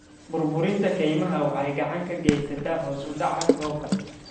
Burburinta kaymaha waxay gacan ka geysataa hoos u dhaca roobka.